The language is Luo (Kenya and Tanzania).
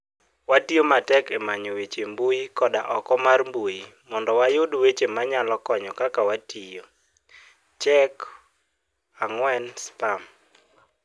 Watiyo matek e manyo weche e mbui koda oko mar mbui mondo wayud weche manyalo konyo - Kaka watiyo, check4spam.